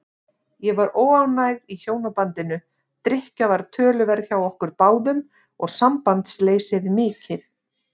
Ég var óánægð í hjónabandinu, drykkja var töluverð hjá okkur báðum og sambandsleysið mikið.